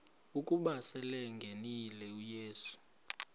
ukuba selengenile uyesu